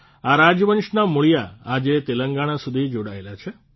આ રાજવંશના મૂળિયા આજે તેલંગણા સુધી જોડાયેલા છે